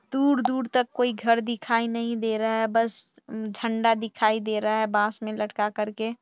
दूर-दूर तक कोई घर दिखाई नहीं दे रहा है बस झंडा दिखाई दे रहा है बांस में लटका करके --